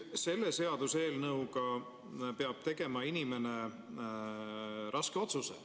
Selle seaduseelnõu järgi peab inimene tegema raske otsuse.